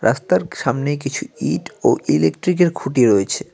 রাস্তার সামনে কিছু ইট ও ইলেকট্রিকের খুঁটি রয়েছে।